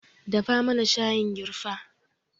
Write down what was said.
Dafa mana shayin girfa